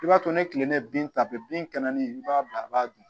I b'a to ni tile ye bin ta bɛɛ bin kɛnɛ i b'a bila a b'a dun